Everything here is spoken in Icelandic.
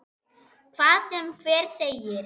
Hvað sem hver segir.